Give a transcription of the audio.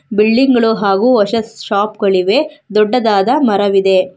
Building ಗಳು ಹಾಗೂ ಹೊಸ ಶಾಪ್ಗ ಳಿವೆ ದೊಡ್ಡದಾದ ಮರವಿದೆ.